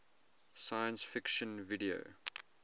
science fiction video